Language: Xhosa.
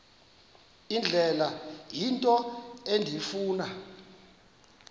indlela into endifuna